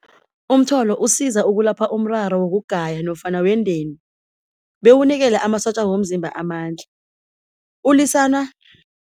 Umtholo usiza ukulapha umraro wokugaya nofana wendeni, bewunikele amasotja womzimba amandla, ulwisana